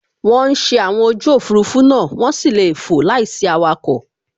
Wọ́n ń ṣe àwọn ojú Òfurufú náà, wọ́n sì lè fò láìsí awakọ̀